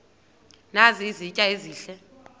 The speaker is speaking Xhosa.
nazi izitya ezihle